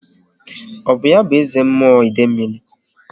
Ọ bụ ya bụ eze mmụọ Idemil?